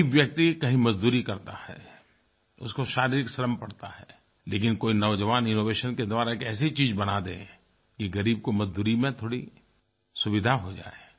ग़रीब व्यक्ति कहीं मजदूरी करता है उसको शारीरिक श्रम पड़ता है लेकिन कोई नौजवान इनोवेशन के द्वारा एक ऐसी चीज़ बना दे कि ग़रीब को मज़दूरी में थोड़ी सुविधा हो जाये